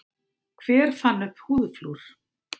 Hver fann upp húðflúr?